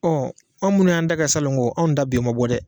an munnu y'an da kɛ salongo anw da den ma bɔ dɛ